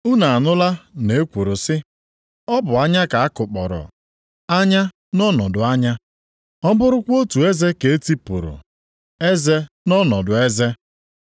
“Unu anụla na e kwuru sị, ‘Ọ bụ anya ka a kụkpọrọ, anya nʼọnọdụ anya. Ọ bụrụkwa otu eze ka e tipụrụ, eze nʼọnọdụ eze.’ + 5:38 \+xt Ọpụ 21:24; Lev 24:20; Dit 19:21\+xt*